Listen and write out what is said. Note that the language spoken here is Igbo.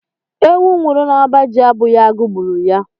Ewu nwụrụ n'ọba ji abụghị agụụ gburu ya.